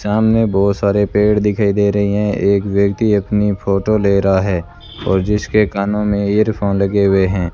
सामने बहोत सारे पेड़ दिखाई दे रहे है एक व्यक्ति अपनी फोटो ले रहा है और जिसके कानों मे इयरफोन लगे हुए है।